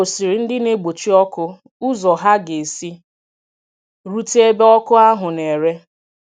Ọ gòsìrì ndị na-egbochi ọkụ ụzọ ha ga-esi rute ebe ọkụ ahụ̀ na-ere.